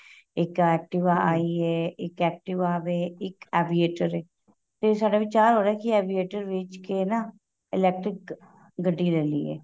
ਇੱਕ activa ਆਈ ਏ ਇੱਕ activa ਵੇ ਇੱਕ aviator ਏ ਤੇ ਸਾਡਾ ਵਿਚਾਰ ਹੋ ਰਿਹਾ ਕਿ aviator ਵੇਚ ਕੇ ਨਾ electric ਗੱਡੀ ਲੇਈਏ